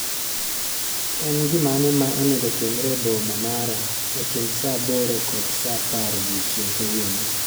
En gimane ma onego otimre e boma mara e kind saa aboro kod saa apar odiechieng' kawuono